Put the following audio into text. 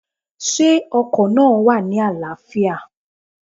Sé ọkò náà wà ní àláâfíà?